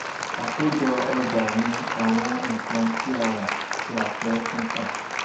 àkójọ ọjà ní àwọn nǹkan tí a rà tí a fẹ́ tún tà.